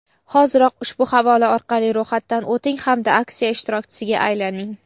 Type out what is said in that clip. Hoziroq ushbu havola orqali ro‘yxatdan o‘ting hamda aksiya ishtirokchisiga aylaning!.